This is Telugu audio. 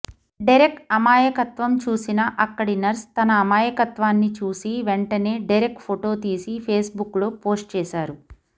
డెరెక్ అమాయత్వం చూసిన అక్కడి నర్స్ తన అమాయకత్వాన్ని చూసి వెంటనే డెరెక్ ఫొటో తీసి ఫేస్బుక్లో పోస్ట్ చేశారు